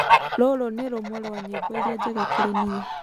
Rũrũ nĩ rũmwe rwa nyĩmbo ĩrĩa njega kũrĩ nĩï